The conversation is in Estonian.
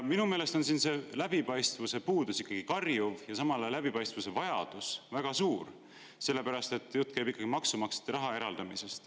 Minu meelest on läbipaistvuse puudus ikkagi karjuv, samal ajal läbipaistvuse vajadus on väga suur, sest jutt käib ikkagi maksumaksjate raha eraldamisest.